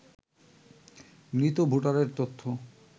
মৃত ভোটারের তথ্য